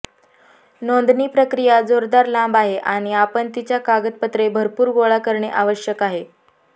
नोंदणी प्रक्रिया जोरदार लांब आहे आणि आपण तिच्या कागदपत्रे भरपूर गोळा करणे आवश्यक आहे